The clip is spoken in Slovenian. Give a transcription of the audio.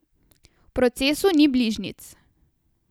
V procesu ni bližnjic.